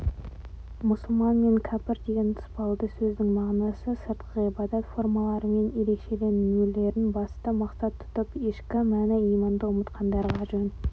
мұсылман мен кәпір деген тұспалды сөздің мағынасы сыртқы ғибадат формаларымен ерекшеленулерін басты мақсат тұтып ішкі мәні иманды ұмытқандарға жөн